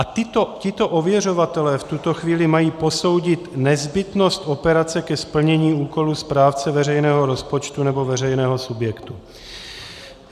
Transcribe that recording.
A tito ověřovatelé v tuto chvíli mají posoudit nezbytnost operace ke splnění úkolu správce veřejného rozpočtu nebo veřejného subjektu.